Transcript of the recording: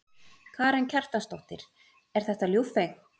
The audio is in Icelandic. Karen Kjartansdóttir: Er þetta ljúffengt?